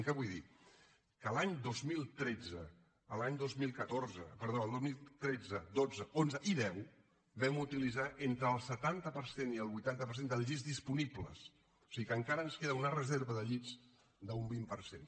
què vull dir que els anys dos mil tretze dotze onze i deu vam utilitzar entre el setanta per cent i el vuitanta per cent dels llits disponibles o sigui que encara ens queda una reserva de llits d’un vint per cent